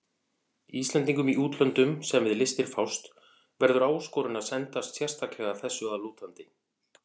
Íslendingum í útlöndum, sem við listir fást, verður áskorun að sendast sérstaklega þessu að lútandi.